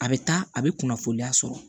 A bɛ taa a bɛ kunnafoniya sɔrɔ